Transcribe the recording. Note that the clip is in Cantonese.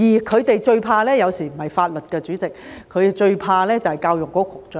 他們最怕的，有時候不是法律，代理主席，他們最怕的就是教育局局長。